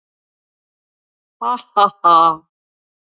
Ha ha ha!